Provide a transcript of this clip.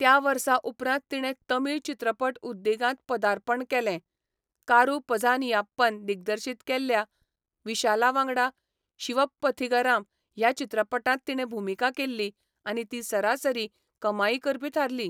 त्या वर्सा उपरांत तिणें तमिळ चित्रपट उद्देगांत पदार्पण केलें, कारू पझानियाप्पन दिग्दर्शीत केल्ल्या विशाला वांगडा शिवप्पथिगराम ह्या चित्रपटांत तिणें भुमिका केल्ली आनी ती सरासरी कमाई करपी थारली.